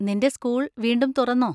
നിന്‍റെ സ്കൂൾ വീണ്ടും തുറന്നോ?